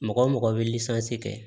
Mɔgɔ mɔgɔ bɛ kɛ